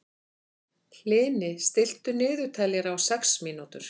Hlini, stilltu niðurteljara á sex mínútur.